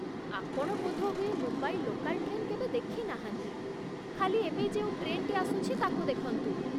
ଆପଣ ବୋଧହୁଏ Mumbai local train କେବେ ଦେଖିନାହାନ୍ତି, ଖାଲି ଏବେ ଯେଉଁ ଟ୍ରେନ୍‌ଟି ଆସୁଛି ତାକୁ ଦେଖନ୍ତୁ ।